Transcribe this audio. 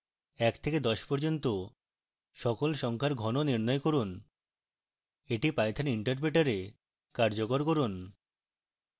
এক থেকে দশ পর্যন্ত সকল সংখ্যার ঘন নির্ণয় করুন এটি python interpreter এ কার্যকর করুন